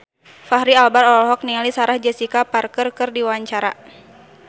Fachri Albar olohok ningali Sarah Jessica Parker keur diwawancara